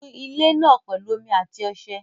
Nu ilé náà pẹ̀lú omi àti ọṣẹ